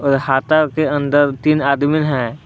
और हाता के अंदर तीन आदमी है।